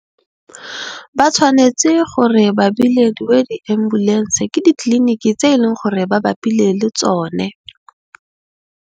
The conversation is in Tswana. Ba tshwanetse gore ba bilediwe di ambulense ke ditliliniki tse e leng gore ba bapile le tsone.